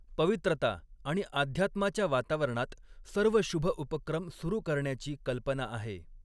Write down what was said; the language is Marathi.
पवित्रता आणि अध्यात्माच्या वातावरणात सर्व शुभ उपक्रम सुरू करण्याची कल्पना आहे.